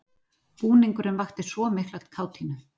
Búningurinn vakti svo mikla kátínu.